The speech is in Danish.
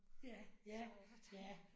Så hvordan